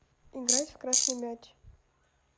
играть в красный мяч